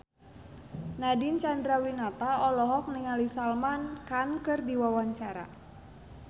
Nadine Chandrawinata olohok ningali Salman Khan keur diwawancara